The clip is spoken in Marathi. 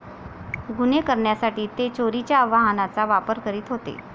गुन्हे करण्यासाठी ते चोरीच्या वाहनांचा वापर करीत होते.